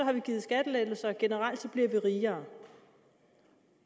man givet skattelettelser og generelt bliver folk rigere